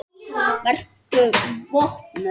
Vertu vopnuð.